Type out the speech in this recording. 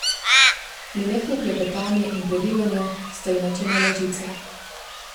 Nenehno klepetanje in prerivanje sta ji načenjala živce.